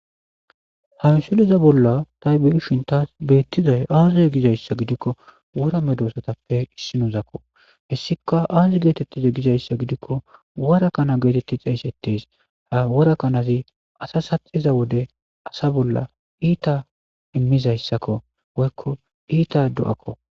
Ha missileza bolla tay be'shshin tassi bettizay aaze gidayssa gidiko wora medossatappe issinozako hessika aazi gettetize giizayssa giidiko wora kana gettetidi xeyssetesi ha wora kanazi asa saxiza wode asa bolla iitta metto ehizayssako woyko iitta do'akko.